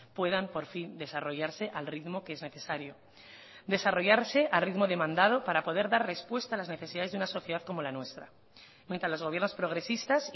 puedan por fin desarrollarse al ritmo que es necesario desarrollarse al ritmo demandado para poder dar respuesta a las necesidades de una sociedad como la nuestra mientras los gobiernos progresistas